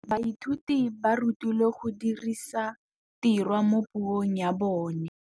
Baithuti ba rutilwe go dirisa tirwa mo puong ya bone.